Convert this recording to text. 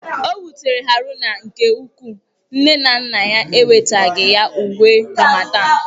O wutere Haruna nke ukwuu nne na nna ya enwetaghị ya uwe Ramadan.